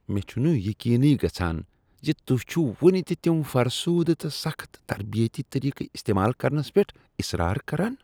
مےٚ چھنہٕ یقینٕی گژھان ز تہۍ چھو وٕنِہ تہِ تم فرسودٕ تہٕ سخٕت تربیتی طریقہٕ استعمال کرنس پؠٹھ اصرار کران!